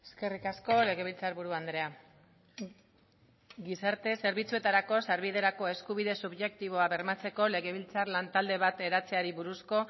eskerrik asko legebiltzarburu andrea gizarte zerbitzuetarako sarbiderako eskubide subjektiboa bermatzeko legebiltzar lan talde bat eratzeari buruzko